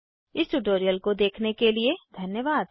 इस ट्यूटोरियल को देखने के लिए धन्यवाद